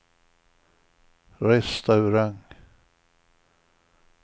restaurang